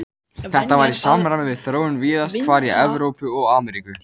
Þetta var í samræmi við þróun víðast hvar í Evrópu og Ameríku.